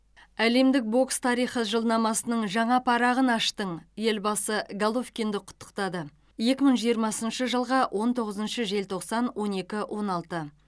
әлемдік бокс тарихы жылнамасының жаңа парағын аштың елбасы головкинді құттықтады екі мың жиырмасыншы жылғы он тоғызыншы желтоқсан он екі он алты